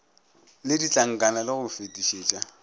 le ditlankana le go fetišetša